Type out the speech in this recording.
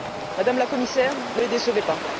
Madame la Commissaire, ne les décevez pas.